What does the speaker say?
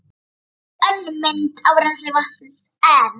Þetta er önnur mynd af rennsli vatnsins en